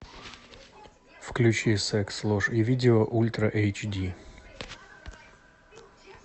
включи секс ложь и видео ультра эйч ди